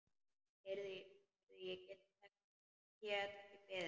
Heyrðu, ég get ekki beðið.